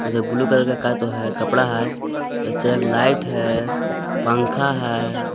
ऊधर blue colour का तो है। कपड़ा है चगलाइट है पंखा है।